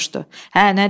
Hə, nə deyir?